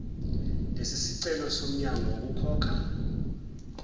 lesisicelo somyalo wokukhokha